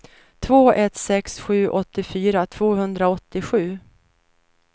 två ett sex sju åttiofyra tvåhundraåttiosju